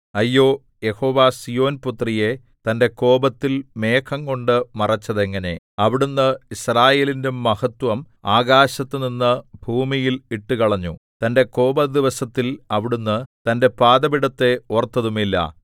അയ്യോ യഹോവ സീയോൻപുത്രിയെ തന്റെ കോപത്തിൽ മേഘംകൊണ്ട് മറച്ചതെങ്ങനെ അവിടുന്ന് യിസ്രായേലിന്റെ മഹത്വം ആകാശത്തുനിന്ന് ഭൂമിയിൽ ഇട്ടുകളഞ്ഞു തന്റെ കോപദിവസത്തിൽ അവിടുന്ന് തന്റെ പാദപീഠത്തെ ഓർത്തതുമില്ല